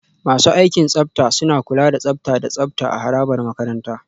Masu aikin tsafta suna kula da tsafta da tsafta a harabar makaranta.